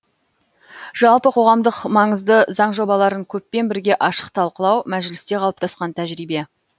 жалпы қоғамдық маңызды заң жобаларын көппен бірге ашық талқылау мәжілісте қалыптасқан тәжірибе